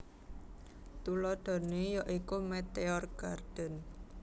Tuladhané ya iku Meteor Garden